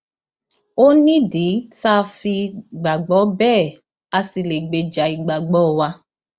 ó nídìí tá a fi gbàgbọ bẹẹ a sì lè gbèjà ìgbàgbọ wa